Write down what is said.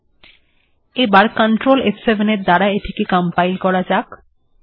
চলুন এবার এটিকে কন্ট্রোল ফ7 এর দ্বারা কম্পাইল্ করা যাক